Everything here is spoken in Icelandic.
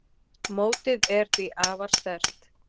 Mótið er því afar sterkt.